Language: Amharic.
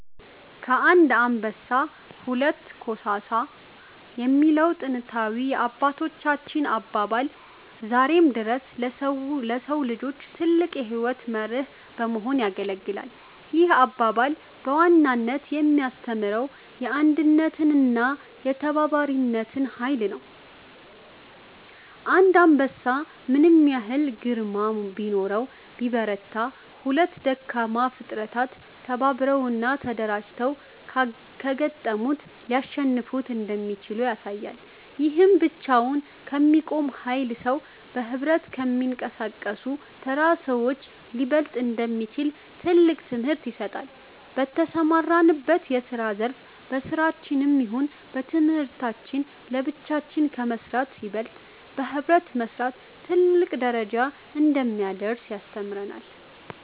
ከአንድ አንበሳ ሁለት ኮሳሳ የሚለው ጥንታዊ የአባቶቻችን አባባል ዛሬም ድረስ ለሰው ልጆች ትልቅ የሕይወት መርህ በመሆን ያገለግላል። ይህ አባባል በዋናነት የሚያስተምረው የአንድነትንና የተባባሪነትን ኃይል ነው። አንድ አንበሳ ምንም ያህል ግርማ ቢኖረውና ቢበረታ፤ ሁለት ደካማ ፍጥረታት ተባብረውና ተደራጅተው ካጋጠሙት ሊያሸንፉት እንደሚችሉ ያሳያል። ይህም ብቻውን ከሚቆም ኃያል ሰው፣ በኅብረት ከሚንቀሳቀሱ ተራ ሰዎች ሊበለጥ እንደሚችል ትልቅ ትምህርት ይሰጣል። በተሰማራንበት የስራ ዘርፍ በስራችንም ይሁን በትምህርታችን ለብቻችን ከመስራት ይበልጥ በህብረት መስራት ትልቅ ደረጃ እንደሚያደርሰን ያስተምረናል።